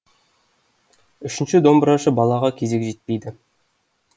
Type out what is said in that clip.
үшінші домбырашы балаға кезек жетпейді